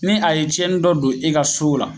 Ni a ye cɛni dɔ don e ka so la